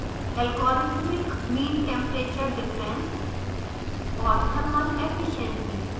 logarithmic mean temperature difference lmtd और